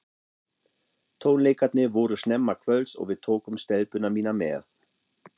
Tónleikarnir voru snemma kvölds og við tókum stelpuna mína með.